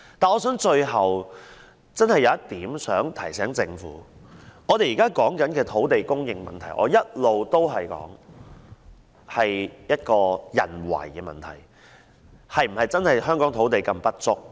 但是，最後我有一點想提醒政府，我們現在討論的土地供應問題，我一直主張是人為問題，香港的土地是否真的如此不足？